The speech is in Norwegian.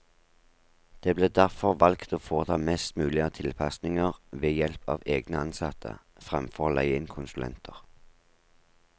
Det ble derfor valgt å foreta mest mulig av tilpasninger ved help av egne ansatte, fremfor å leie inn konsulenter.